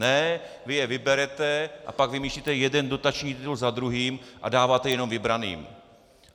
Ne, vy je vyberete, a pak vymýšlíte jeden dotační titul za druhým a dáváte jenom vybraným.